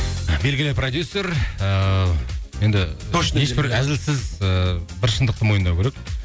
белгілі продюссер ііі енді әзілсіз ііі бір шындықты мойындау керек